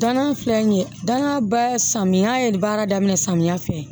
Danaya filɛ nin ye danna ba samiyɛ ye baara daminɛ samiya fɛ